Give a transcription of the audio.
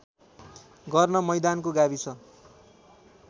गर्न मैदानको गाविस